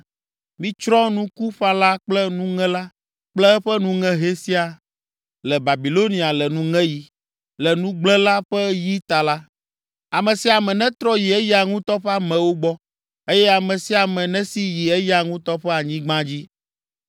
Mitsrɔ̃ nukuƒãla kple nuŋela kple eƒe nuŋehɛ siaa le Babilonia le nuŋeɣi. Le nugblẽla ƒe yi ta la, ame sia ame netrɔ yi eya ŋutɔ ƒe amewo gbɔ, eye ame sia ame nesi yi eya ŋutɔ ƒe anyigba dzi.